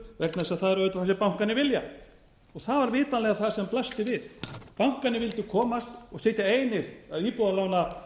vegna þess að það er auðvitað það sem bankarnir vilja það var vitanlega það sem blasti við bankarnir vildu komast og sitja einir að íbúðalánamarkaðnum við því